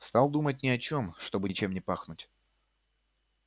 стал думать ни о чём чтобы ничем не пахнуть